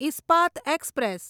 Ispat express